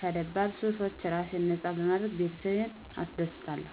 ከደባል ሱሶች ራሴን ነፃ በማድረግ ቤተሰቤን አስደስታለሁ።